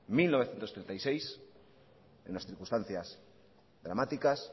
mil novecientos treinta y seis unas circunstancias dramáticas